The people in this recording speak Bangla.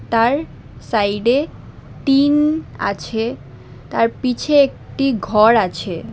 তার সাইডে টিন আছে তার পিছে একটি ঘর আছে।